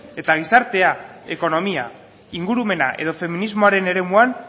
eta gizartea ekonomia ingurumena edo feminismoaren eremuan